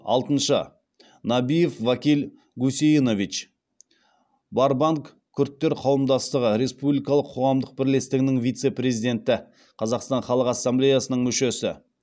алтыншы набиев вакиль гусейнович барбанг күрдтер қауымдастығы республикалық қоғамдық бірлестігінің вице президенті қазақстан халық ассамблеясының мүшесі